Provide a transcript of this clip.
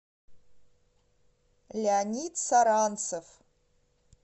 леонид саранцев